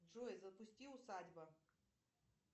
джой запусти усадьба